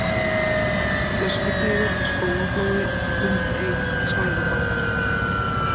Flöskuteigur, Spóaflói, Klumbey, Svæðubakkar